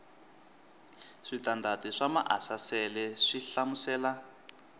switandati swa maasesele swi hlamusela